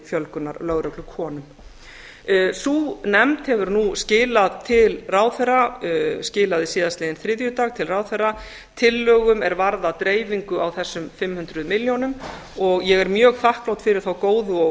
fjölgunar á lögreglukonum sú nefnd hefur nú skilað til ráðherra skilaði síðastliðinn þriðjudag til ráðherra tillögum er varða dreifingu á þessum fimm hundruð milljónum og ég er mjög þakklát fyrir þá góðu og